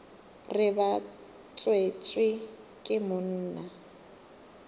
re ba tswetšwe ke monna